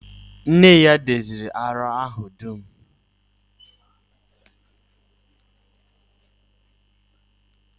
Nne ya doziri àrịá ahụ dum